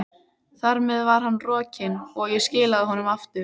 Þar með var hann rokinn, og ég skilaði honum aftur.